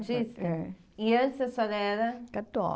É. E antes a senhora era...